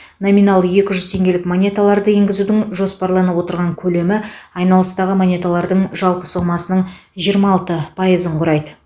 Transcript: номиналы екі жүз теңгелік монеталарды енгізудің жоспарланып отырған көлемі айналыстағы монеталардың жалпы сомасының жиырма алты пайызын құрайды